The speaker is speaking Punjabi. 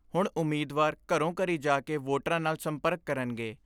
ਹੁਣ ਉਮੀਦਵਾਰ ਘਰੋਂ ਘਰੀ ਜਾ ਕੇ ਵੋਟਰਾਂ ਨਾਲ ਸੰਪਰਕ ਕਰਨਗੇ।